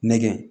Nɛkɛ